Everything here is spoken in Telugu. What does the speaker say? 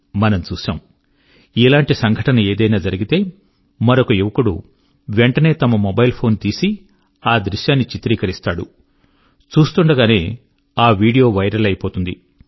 మనము చూశాము ఇలాంటి సంఘటన ఏదైనా జరిగితే మరొక యువకుడు వెంటనే తమ మొబైల్ ఫోన్ తీసి ఆ దృశ్యాన్ని చిత్రీకరిస్తాడు చూస్తుండగానే ఆ వీడియో వైరల్ అయిపోతుంది